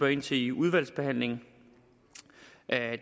ind til i udvalgsbehandlingen